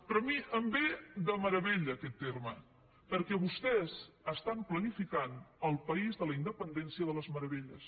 però a mi em ve de meravella aquest terme perquè vostès estan planificant el país de la independència de les meravelles